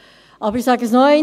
Ich sage es nochmals: